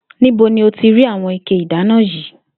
Níbo ni o ti ra àwo̩n ike ìdáná yìí?